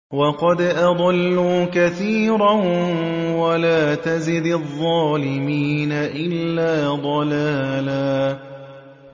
وَقَدْ أَضَلُّوا كَثِيرًا ۖ وَلَا تَزِدِ الظَّالِمِينَ إِلَّا ضَلَالًا